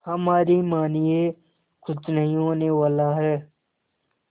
हमारी मानिए कुछ नहीं होने वाला है